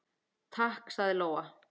Takk, sagði Lóa.